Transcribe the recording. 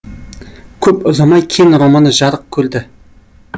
көп ұзамай кен романы жарық көрді